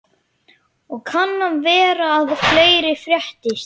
Og kann vera að fleira fréttist.